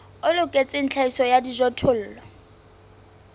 o loketseng tlhahiso ya dijothollo